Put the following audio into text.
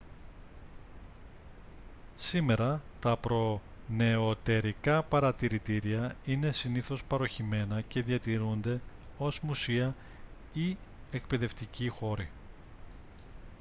σήμερα τα προνεωτερικά παρατηρητήρια είναι συνήθως παρωχημένα και διατηρούνται ως μουσεία ή εκπαιδευτικοί χώροι